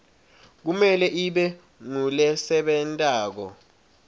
kumele ibe ngulesebentako